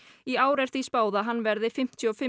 í ár er því spáð að hann verði fimmtíu og fimm